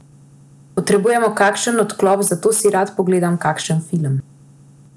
Potrebujemo kakšen odklop, zato si rad pogledam kakšen film.